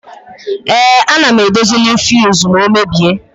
Ee, ana m edozinwu fiuzu ma ọ mebie.